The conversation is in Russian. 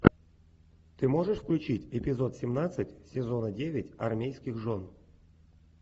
ты можешь включить эпизод семнадцать сезона девять армейских жен